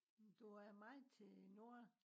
du er meget til nord